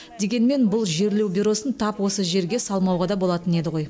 дегенмен бұл жерлеу бюросын тап осы жерге салмауға да болатын еді ғой